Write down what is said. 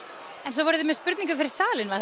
en svo voruð þið með spurningu fyrir salinn var